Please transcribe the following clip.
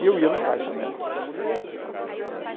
E eu ia no caixa dela né.